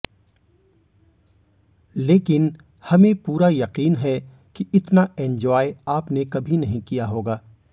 लेकिन हमें पूरा यकीन है कि इतना एन्जॉय आपने कभी नहीं किया होगा